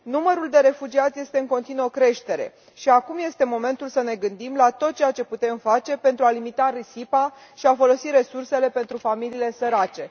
Numărul de refugiați este în continuă creștere și acum este momentul să ne gândim la tot ceea ce putem face pentru a limita risipa și a folosi resursele pentru familiile sărace.